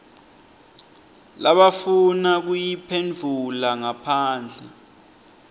labafuna kuyiphendvula ngaphandle